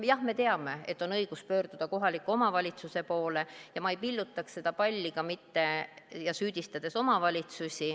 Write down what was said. Jah me teame, et on õigus pöörduda kohaliku omavalitsuse poole, ja ma ei pilluks seda palli ka mitte omavalitsusi süüdistades.